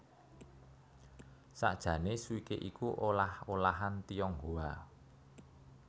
Sakjané Swikee iku olah olahan Tionghoa